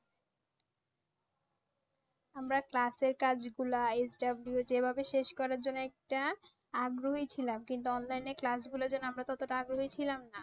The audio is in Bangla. আমরা ক্লাসের কাজগুলা HW যেভাবে শেষ করার জন্য একটা আগ্রহী ছিলাম কিন্তু online এ class গুলোয় যেন আমরা তত টা আগ্রহী ছিলাম না।